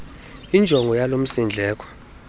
injongo yalo msindleko